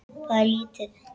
Það er lítið